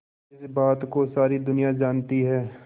जिस बात को सारी दुनिया जानती है